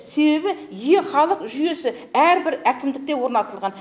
себебі е халық жүйесі әрбір әкімдікте орнатылған